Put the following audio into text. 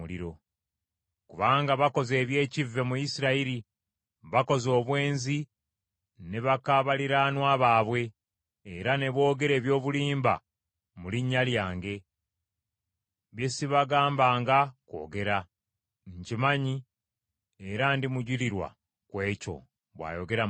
Kubanga bakoze eby’ekivve mu Isirayiri; bakoze obwenzi ne baka baliraanwa baabwe era ne boogera eby’obulimba mu linnya lyange, bye sibagambanga kwogera. Nkimanyi era ndi mujulirwa ku ekyo,” bw’ayogera Mukama .